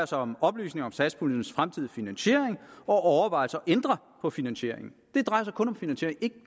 sig om oplysninger om satspuljens fremtidige finansiering og overvejelser om at ændre på finansieringen det drejer sig kun om finansiering og ikke